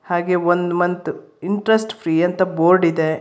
ಹಾಗೆ ಒಂದ್ month interest free ಅಂತ ಬೋರ್ಡ್ ಇದೆ.